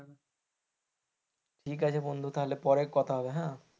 ঠিক আছে বন্ধু তাহলে পরে কথা হবে হ্যাঁ,